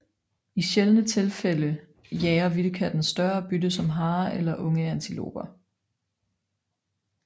I sjældne tilfælde jager vildkatten større bytte som harer eller unge antiloper